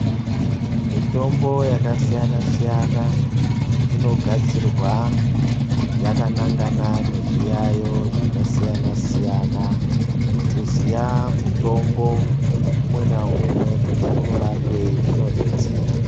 Mitombo yakasiyana-siyana, inogadzirwa yakanangana nezviyaiyo zvakasiyana-siyana. Kuziya mutombo umwe naumwe kuti unorapei zvinodetsera.